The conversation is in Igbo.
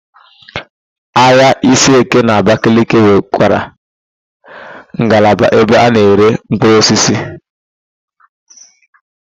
Ahịa Isieke n'Abakaliki nwekwara ngalaba ebe a na-ere mkpụrụosisi.